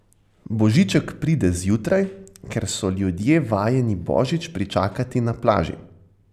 Božiček pride zjutraj, ker so ljudje vajeni božič pričakati na plaži.